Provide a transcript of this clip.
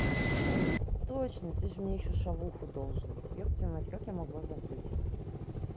точно ты же мне ещё шаурму должен ёб твою мать как я могла забыть